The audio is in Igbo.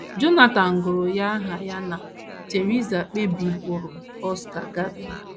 Jonathan gụrụ ya aha ya na Theresa kpebiburu Oscar Gavin.